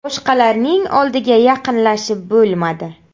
Boshqalarning oldiga yaqinlashib bo‘lmadi.